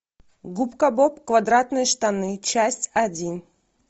губка боб квадратные штаны часть один